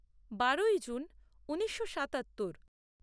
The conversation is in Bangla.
বারোই জুন ঊনিশো সাতাত্তর